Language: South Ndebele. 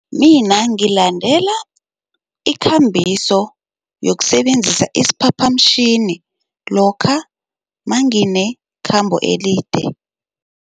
Mina ngilalela ikambiso yokusebenzisa isiphaphamtjhini lokha manginekhambo elide.